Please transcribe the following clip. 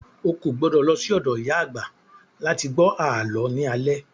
O kò gbọdọ̀ lọ sí ọ̀dọ̀ ìyá àgbà láti gbọ́ àlọ́ ní alẹ́